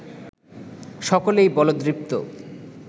সকলেই বলদৃপ্ত